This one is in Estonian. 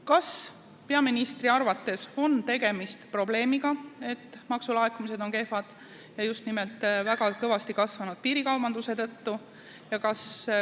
Kas peaministri arvates on see probleem, et maksulaekumised on kehvad, ja seda just nimelt kõvasti kasvanud piirikaubanduse tõttu?